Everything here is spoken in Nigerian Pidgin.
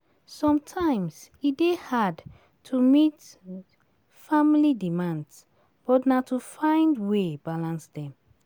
Sometimes e dey hard to meet family demands but na to find way balance dem